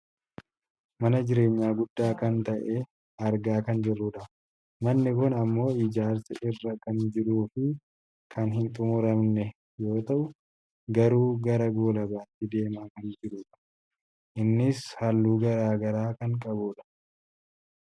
mana jireenyaa guddaa kan ta'e argaa kan jirrudha . manni kun ammoo ijaarsa irra kan jiruufi kan hin xummuramne yoo ta'u garuu gara goolabamuutti deemaa kan jirudha. innis halluu gara garaa kan qabudha.